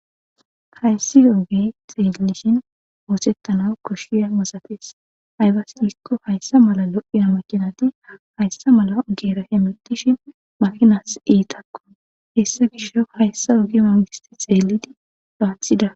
hayssi yogi xeellishin oosettana koshiya mosafes haybas gikko hayssa mala lo7iya makinati hayssa mala geera hemetishi makinas iitakko hessa gisho hayssa ogi mangisti xeelidi lawathida